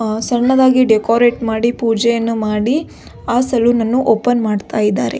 ಅ ಸಣ್ಣದಾಗಿ ಡೆಕೊರೇಟ್ ಮಾಡಿ ಪೂಜೆಯನ್ನು ಮಾಡಿ ಆ ಸಲೂನನ್ನು ಓಪನ್ ಮಾಡ್ತಾ ಇದ್ದಾರೆ.